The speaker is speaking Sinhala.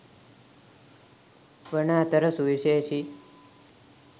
වන අතර සුවිශේෂී